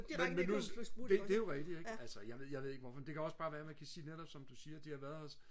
men men nu det det er jo rigtigt ikke altså jeg ved jeg ved ikke hvorfor men det kan også bare være man kan sige netop som du siger de har været her